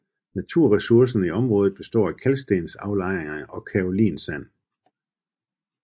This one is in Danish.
Naturressourcerne i området består af kalkstensaflejringer og kaolinsand